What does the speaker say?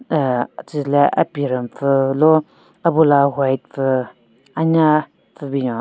Aahh tsüle apirün pvü lo abula white pvü anya pvü binyon.